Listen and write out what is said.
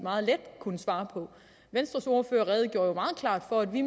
meget let kunne svare på venstres ordfører redegjorde jo meget klart for at vi